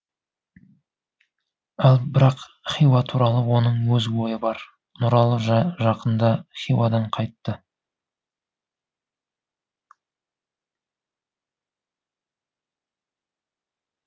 ал бірақ хиуа туралы оның өз ойы бар нұралы жақында хиуадан қайтты